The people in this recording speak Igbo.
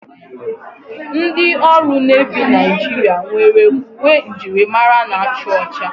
Ndị ọrụ nevi Nigeria nwere uwe njirimara na-acha ụcha.